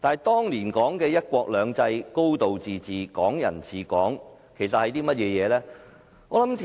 當年說的"一國兩制"、"高度自治"、"港人治港"是甚麼呢？